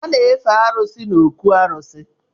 A na-efe arụsị n’ọkụ̣ arụsi